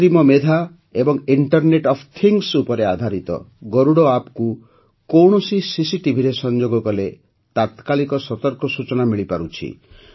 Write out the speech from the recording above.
କୃତ୍ରିମ ମେଧା ଏବଂ ଇଣ୍ଟରନେଟ୍ ଅଫ୍ ଥିଙ୍ଗ୍ସ ଉପରେ ଆଧାରିତ ଗରୁଡ଼ ଆପ୍କୁ କୌଣସି ସିସିଟିଭିରେ ସଂଯୋଗ କଲେ ତାକ୍ରାଳିକ ସତର୍କ ସୂଚନା ମିଳିପାରୁଛି